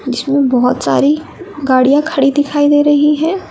जिसमें बहुत सारी गाड़ियां खड़ी दिखाई दे रही हैं।